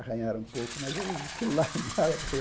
Arranharam um pouco, mas ele aquilo lá nada para ele.